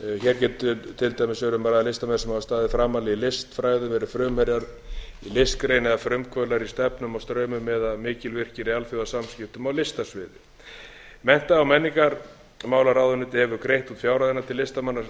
hér getur til dæmis verið um að ræða listamenn sem hafa staðið framarlega í listfræðum verið frumherjar í listgrein eða frumkvöðlar í stefnum og straumum eða mikilvirkir í alþjóðasamskiptum á listasviði mennta og menningarmálamálaráðuneyti hefur greitt út fjárhæðina til listamanna